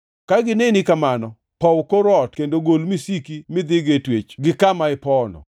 Ka gineni kamano, pow kor ot kendo gol misiki midhigo e twech gi kama ipowono.